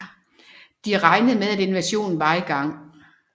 De regnede med at invasionen var i gang